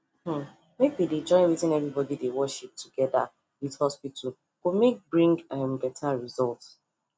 hmmmmake we dey join wetin everybody dey worship together with hospital go make bring um better result